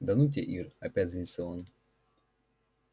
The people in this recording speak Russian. да ну тебя ир опять злится он